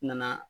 Nana